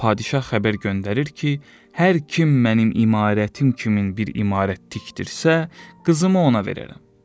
Padişah xəbər göndərir ki, hər kim mənim imarətim kimin bir imarət tikdirsə, qızımı ona verərəm.